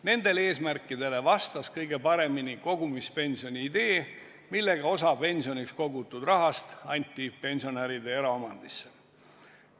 Nendele eesmärkidele vastas kõige paremini kogumispensioni idee, millega osa pensioniks kogutud rahast anti pensionäride eraomandisse.